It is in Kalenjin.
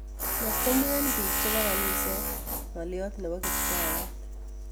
Motkomwen biik chebo kaniset ngolyot nebo kiptayat